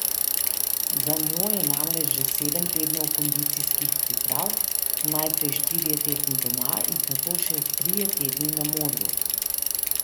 Za njo je namreč že sedem tednov kondicijskih priprav, najprej štirje tedni doma in nato še trije tedni na morju.